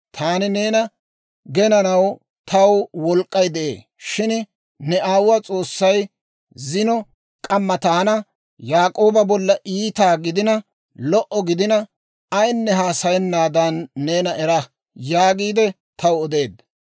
Taani neena genanaw taw wolk'k'ay de'ee; shin ne aawuwaa S'oossay zino k'amma taana, ‹Yaak'ooba bolla iita gidina, lo"a gidina, ayinne haasayennaadan neena era!› yaagiide taw odeedda.